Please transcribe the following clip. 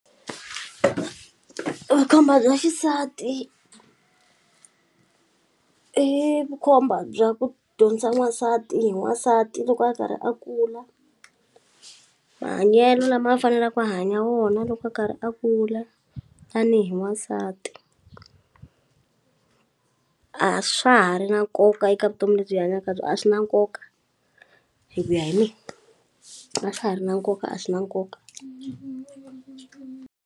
Vukhomba bya xisati i vukhomba bya ku dyondzisa n'wansati hi n'wansati loko a karhi a kula mahanyelo lama a faneleku a hanya wona loko a karhi a kula tanihi n'wansati a swa ha ri na nkoka eka vutomi lebyi hi hanyaka byo a swi na nkoka hi ku ya hi mina a swa ha ri na nkoka a swi na nkoka.